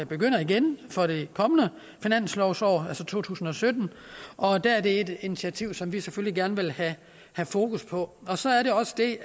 begynder igen for det kommende finanslovsår altså to tusind og sytten og der er det et initiativ som vi selvfølgelig gerne vil have fokus på så er der også det